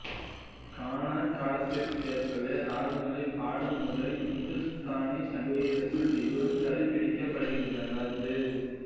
கான காலத்திற்கேற்பவே இராகங்களைப் பாடும் முறை இந்துஸ்தானி சங்கீதத்தில் இன்னும் கடைப்பிடிக்கப்படுகின்றது